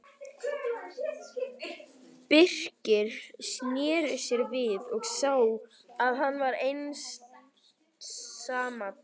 Birkir sneri sér við og sá að hann var einsamall.